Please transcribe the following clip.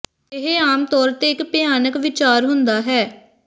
ਇਹ ਆਮ ਤੌਰ ਤੇ ਇੱਕ ਭਿਆਨਕ ਵਿਚਾਰ ਹੁੰਦਾ ਹੈ